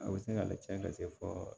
A bɛ se ka lacɛn ka se fɔ